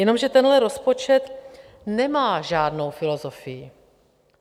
Jenomže tenhle rozpočet nemá žádnou filozofii.